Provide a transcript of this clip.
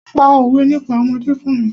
Pa òwé nípa ọmọdé fún mi!